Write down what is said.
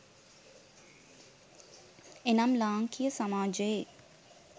එනම් ලාංකීය සමාජයේ